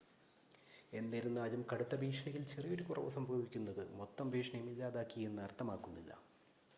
"എന്നിരുന്നാലും, കടുത്ത ഭീഷണിയിൽ ചെറിയൊരു കുറവ് സംഭവിക്കുന്നത്, മൊത്തം ഭീഷണിയും ഇല്ലാതാക്കി എന്ന് അർത്ഥമാക്കുന്നില്ല."